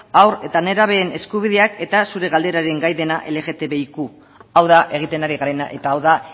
haur eta nerabeen eskubideak eta zure galderaren gai dena lgtbiq hau da egiten ari garena eta hau da